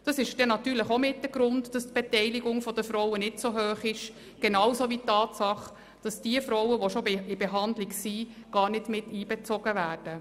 Das ist natürlich auch mit ein Grund, dass die Beteiligung der Frauen nicht so hoch ist, genauso wie die Tatsache, dass die Frauen, die bereits in Behandlung sind, nicht mit einbezogen werden.